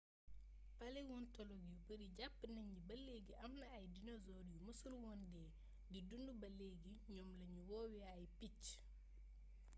paléontologue yu bari jàpp nañu ni ba leegi amna ay dinosaure yu mësul woon dee di dund baa leegi ñoom lañu woowe ay picc